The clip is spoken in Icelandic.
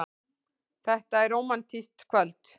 Þetta er rómantískt kvöld.